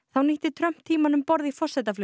þá nýtti Trump tímann um borð í